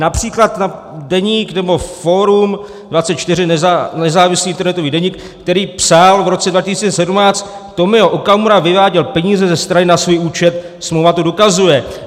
Například Deník nebo Forum24, nezávislý internetový deník, který psal v roce 2017: Tomio Okamura vyváděl peníze ze strany na svůj účet, smlouva to dokazuje.